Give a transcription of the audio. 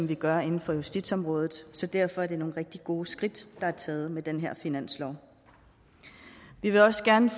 vi gør inden for justitsområdet så derfor er det nogle rigtig gode skridt der er taget med den her finanslov vi vil også gerne